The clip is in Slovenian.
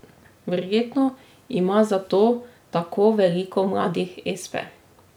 Verjetno ima zato tako veliko mladih espe.